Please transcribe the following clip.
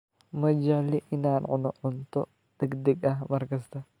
Ma jecli inaan cuno cunto degdeg ah mar kasta.